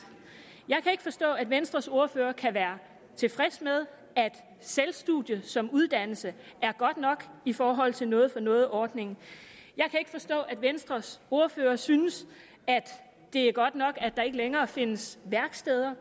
jeg kan ikke forstå at venstres ordfører kan være tilfreds med at selvstudium som uddannelse er godt nok i forhold til noget for noget ordningen jeg kan ikke forstå at venstres ordfører synes at det er godt nok at der ikke længere findes værksteder